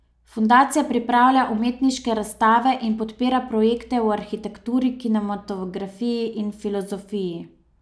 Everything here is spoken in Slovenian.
Fundacija pripravlja umetniške razstave in podpira projekte v arhitekturi, kinematografiji in filozofiji.